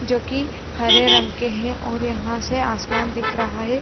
जो कि हरे रंग के हैं और यहां से आसमान दिख रहा है।